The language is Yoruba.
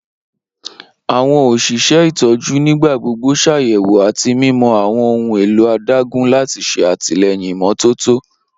Awọn oṣiṣẹ itọju nigbagbogbo ṣayẹwo ati mimọ awọn ohun elo adagun lati ṣe atilẹyin imototo.